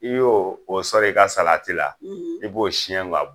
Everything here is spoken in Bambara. I y'o o sɔrɔ i ka la i b'o siyɛn ka bɔ